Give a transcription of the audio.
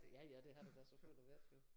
Ja ja det har der da selvfølgelig været jo